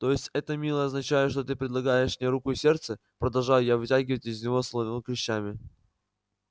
то есть это милый означает что ты предлагаешь мне руку и сердце продолжаю я вытягивать из него словно клещами